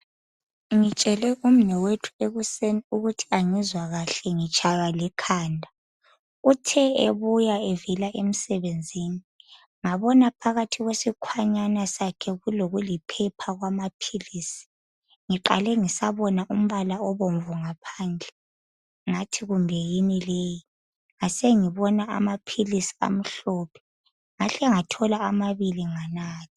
Ngimtshele umnewethu ekuseni ukuthi angizwa kahle ngitshaywa likhanda .Uthe ebuya evela emsebenzini ngabona phakathi kwesikhwanyana sakhe kulokuliphepha kwamaphilisi. Ngiqale ngisabona umbala obomvu ngaphandle .Ngathi kumbe yini leyi .Ngasengibona amaphilisi amhlophe. Ngahlengathola. amabili nganatha .